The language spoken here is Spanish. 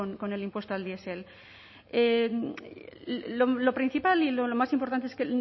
con el impuesto del diesel lo principal y lo más importante es que